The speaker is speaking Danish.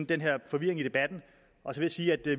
den her forvirring i debatten